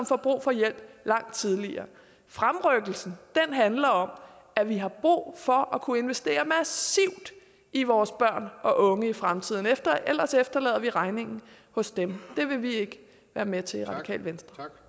få brug for hjælp langt tidligere fremrykkelsen handler om at vi har brug for at kunne investere massivt i vores børn og unge i fremtiden ellers efterlader vi regningen hos dem og det vil vi ikke være med til i radikale venstre